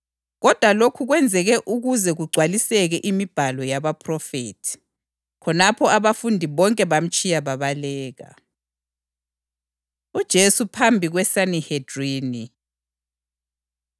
Kodwa lokhu kwenzeke ukuze kugcwaliseke imibhalo yabaphrofethi.” Khonapho abafundi bonke bamtshiya babaleka. UJesu Phambi KweSanihedrini